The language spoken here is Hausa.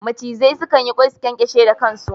Macizai suna yin ƙwai, su ƙyanƙyashe da ƙan su.